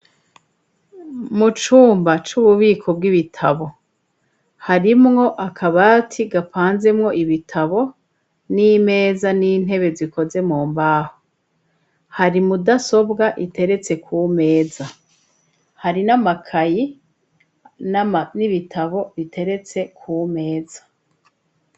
Mucumba c'ububiko bw'ibitabo, harimwo akabati gapanzemwo ibitabo n'imeza n'intebe zikoze mu mbaho, hari mudasobwa iteretse ku meza, hari n'amakayi n'ibitabo iteretse kumeza.